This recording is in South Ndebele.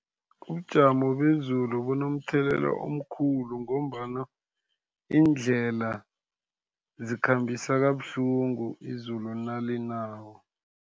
Ubujamo bezulu bunomthelelo omkhulu, ngombana iindlela zikhambisa kabuhlungu izulu nalinako.